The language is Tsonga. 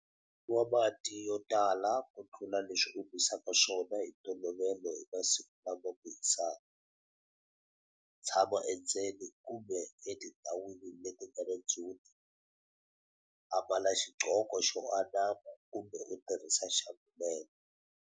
Nwa mati yo tala ku tlula leswi u nwisaka swona hi ntolovelo hi masiku lama ku hisaka. Tshama endzeni kumbe etindhawini leti nga na ndzhuti. Ambala xigqoko xo anama kumbe u tirhisa xambhulela.